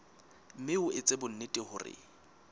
mme o etse bonnete hore